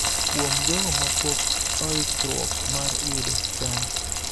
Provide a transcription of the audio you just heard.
Kuom jogo ma pok oikruok mar yudo chanjo,